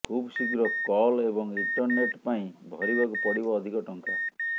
ଖୁବଶୀଘ୍ର କଲ ଏବଂ ଇଣ୍ଟରନେଟ୍ ପାଇଁ ଭରିବାକୁ ପଡ଼ିବ ଅଧିକ ଟଙ୍କା